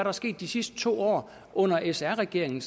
er sket de sidste to år under sr regeringen